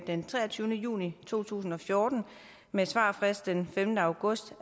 den treogtyvende juni to tusind og fjorten med svarfrist den femte august